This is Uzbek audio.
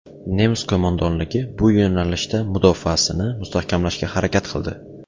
Nemis qo‘mondonligi bu yo‘nalishda mudofaasini mustahkamlashga harakat qildi.